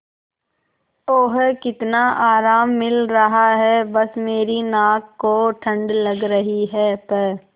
ओह कितना आराम मिल रहा है बस मेरी नाक को ठंड लग रही है प्